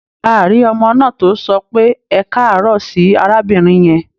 A rí ọmọ náà tó sọ pé "ẹkáàárọ̀" sí arábìnrin yẹn.